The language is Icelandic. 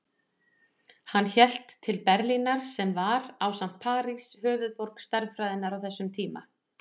Hann hélt til Berlínar sem var, ásamt París, höfuðborg stærðfræðinnar á þessum tíma.